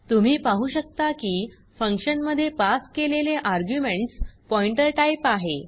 तुम्ही पाहु शकता की फक्शन मध्ये पास केलेले आर्ग्युमेंट्स पॉइंटर टाइप आहे